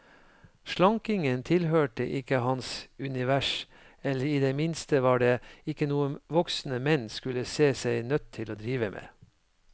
Slankingen tilhørte ikke hans univers, eller i det minste var det ikke noe voksne menn skulle se seg nødt til å drive med.